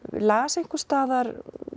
las einhvers staðar